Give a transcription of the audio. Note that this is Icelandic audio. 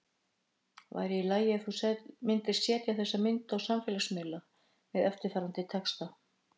Væri í lagi ef þú myndir setja þessa mynd á samfélagsmiðla með eftirfarandi texta?